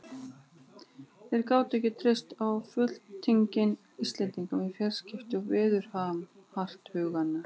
Þeir gátu ekki treyst á fulltingi Íslendinga við fjarskipti og veðurathuganir.